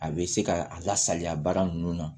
A bɛ se ka a lasaliya baara ninnu na